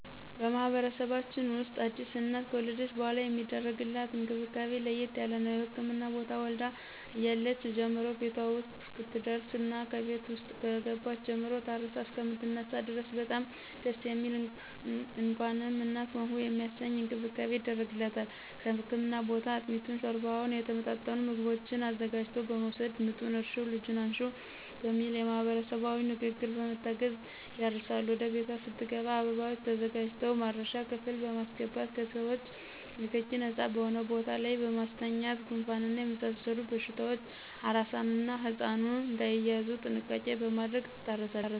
በማህበረሰባችን ውስጥ አዲስ እናት ከወለደች በሗላ የሚደረግላት እንክብካቤ ለየት ያለ ነው። ከህክምና ቦታ ወልዳ እያለች ጀምሮ ቤቷ ውስጥ እስከምትደርስና ከቤት ውስጥም ከገባች ጀምሮ ታርሳ እሰከምትነሳ ድረስ በጣም ደስ የሚል እንኳንም እናት ሆንሁ የሚያሰኝ እንክብካቤ ይደረግላታል ከህክምና ቦታ አጥሚቱን: ሾርባውና የተመጣጠኑ ምግቦችን አዘጋጅቶ በመወሰድ ምጡን እርሽው ልጁን አንሽው በሚል ማህበረሰባዊ ንግግሮች በመታገዝ ያርሳሉ ወደ ቤቷ ስትሄድም አበባዎች ተዘጋጅተው ማረሻ ክፍል በማሰገባት ከሰዎቾ ንክኪ ነጻ በሆነ ቦታ ላይ በማስተኛት ጉንፋንና የመሳሰሉት በሽታዎች አራሷና ህጻኑ እዳይያዙ ጥንቃቄ በማድረግ ትታረሳለች።